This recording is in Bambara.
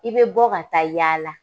I bɛ bɔ ka taa yaala